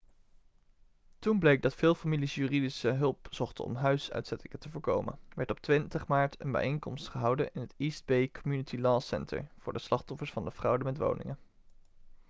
toen bleek dat veel families juridische hulp zochten om huisuitzettingen te voorkomen werd op 20 maart een bijeenkomst gehouden in het east bay community law center voor de slachtoffers van de fraude met woningen